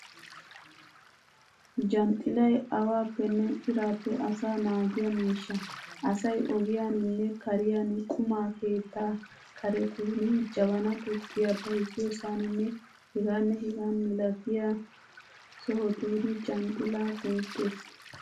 Janxxilay awaappenne iraappe asaa naagiya miishsha. Asay ogiyaninne kariyan, quma keettaa karetun, jabanaa tukkiya bayziyosaaninne hegaanne hegaa milatiya sohotun janxxilaa go'ettees.